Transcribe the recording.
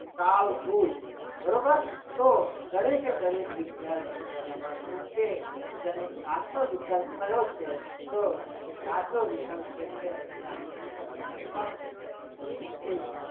કાલ ભુજ બરોબર તો દરેકે દરેક વિદ્યાર્થીએ જણાવવાનું કે તેનો સાચો વિકલ્પ કયો છે તો એ સાચો વિકલ્પ જે છે એ આપણે લખવાનો છે.